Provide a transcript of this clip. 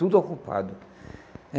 Tudo ocupado.